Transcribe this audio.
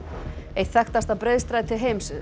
eitt þekktasta breiðstræti heims